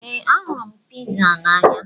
Ee, ahụrụ m piza n'anya.